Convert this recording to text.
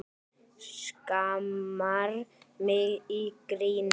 Skammar mig í gríni.